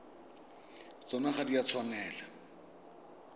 tsona ga di a tshwanela